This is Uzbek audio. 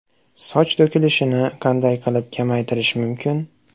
Soch to‘kilishini qanday qilib kamaytirish mumkin?